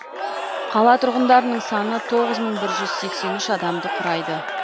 қала тұрғындарының саны тоғыз мың бір жүз сексен үш адамды құрайды